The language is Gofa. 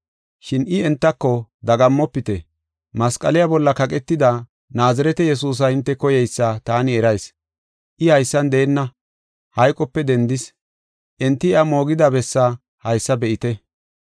Shin I entako, “Dagammofite; masqaliya bolla kaqetida, Naazirete Yesuusa hinte koyeysa taani erayis. I haysan deenna, hayqope dendis. Enti iya moogida bessa haysa be7ite.